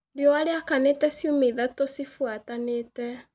Riũa rĩakanĩte ciumia ithatũ cibuatanĩte.